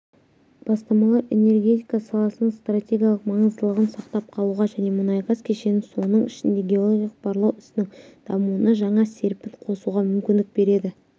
бастамалар энергетика саласының стратегиялық маңыздылығын сақтап қалуға және мұнай-газ кешенінің соның ішінде геологиялық барлау ісінің дамуына жаңа серпін қосуға мүмкіндік береді